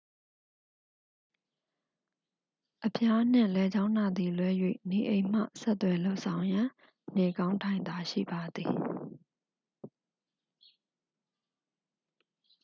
အဖျားနှင့် လည်ချောင်းနာသည်လွဲ၍ နေအိမ်မှ ဆက်သွယ်လုပ်ဆောင်ရန် နေကောင်းထိုင်သာရှိပါသည်